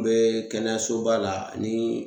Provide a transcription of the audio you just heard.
N be kɛnɛyasoba la ani